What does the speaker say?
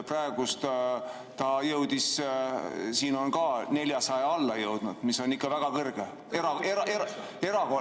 Praegu ta on siin ka 400 alla jõudnud, mis on ikka väga kõrge, erakordselt ...